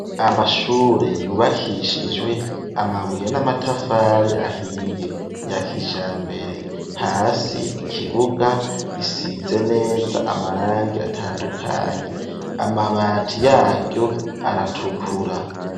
Amashure yubakishijwe amabuye n'amatafari ahiye yakijambere, hasi ikibuga gisize neza amarangi atandukanye, amabati yayo aratukura.